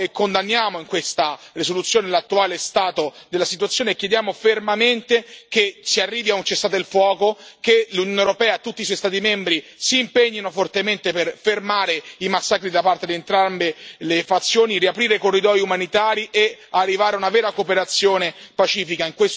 condanniamo in questa risoluzione l'attuale stato della situazione e chiediamo fermamente che si arrivi a un cessate il fuoco, che l'Unione europea e tutti i suoi Stati membri si impegnino fortemente per fermare i massacri da parte di entrambe le fazioni, riaprire i corridoi umanitari e arrivare a una vera cooperazione pacifica.